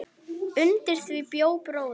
Undir því bjó bróðir